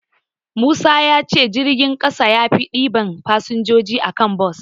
Musa ya ce jirgin ƙasa yafi ɗiban fasinjoji a kan bas.